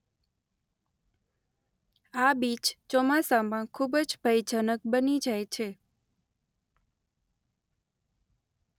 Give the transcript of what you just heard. આ બીચ ચોમાસામાં ખુબજ ભયજનક બની જાય છે.